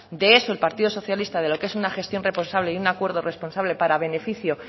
de eso el partido socialista de lo que es una gestión responsable y un acuerdo responsable para beneficio